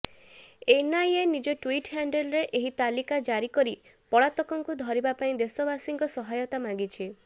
NIA ନିଜ Twitter ହ୍ୟାଣ୍ଡେଲରେ ଏହି ତାଲିକା ଜାରି କରି ପଳାତକଙ୍କୁ ଧରିବା ପାଇଁ ଦେଶବାସୀଙ୍କୁ ସହାୟତା ମାଗିଛି